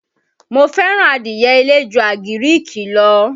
Mó fẹ́ràn adìye ilé ju àgíríìkì lọ.